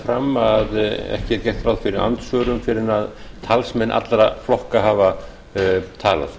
fram að ekki er gert ráð fyrir andsvörum fyrr en talsmenn allra flokka hafa talað